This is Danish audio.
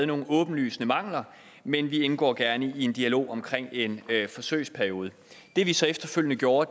nogle åbenlyse mangler men vi indgår gerne i en dialog omkring en forsøgsperiode det vi så efterfølgende gjorde